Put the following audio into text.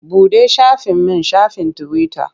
Buɗe shafin min shafin tiwita.